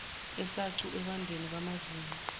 esacu ekwandeni kwamazinga